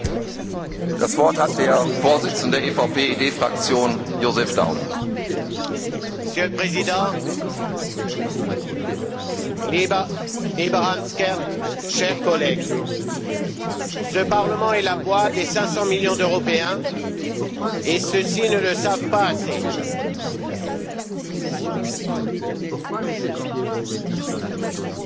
Monsieur le Président, lieber Hans Gert, chers collègues, ce Parlement est la voix des 500 millions d'Européens et ceux ci ne le savent pas assez. Ce qu'ils savent encore moins, c'est que